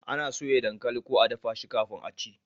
ana soya dankali ko a dafa shi kafin a ci